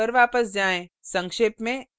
अब अपनी slides पर वापस जाएँ